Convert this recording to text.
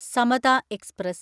Samatha express